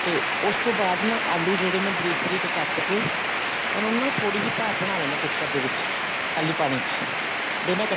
ਤੇ ਉਸਤੋਂ ਬਾਅਦ ਨਾ ਆਲੂ ਬਰੀਕ ਬਰੀਕ ਕੱਟ ਕੇ ਉਹਨਾ ਨੂੰ ਥੋੜੀ ਜੀ ਭਾਂਫ਼ ਬਣਾ ਲੈਣੀ ਹੈ ਕੁੱਕਰ ਦੇ ਵਿੱਚ ਖਾਲੀ ਪਾਣੀ ਚ ਦੋਨਾ